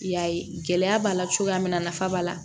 I y'a ye gɛlɛya b'a la cogoya min na nafa b'a la